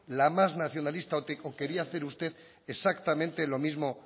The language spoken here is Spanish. la más nacionalista o quería hacer usted exactamente lo mismo